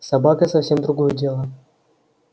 собака совсем другое дело